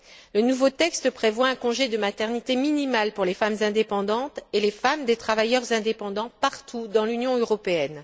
Le nouveau texte prévoit un congé de maternité minimal pour les femmes indépendantes et les femmes des travailleurs indépendants partout dans l'Union européenne.